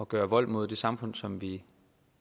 gøre vold mod det samfund som vi